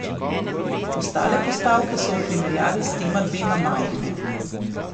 Ostale postavke so v primerjavi s tema dvema majhne.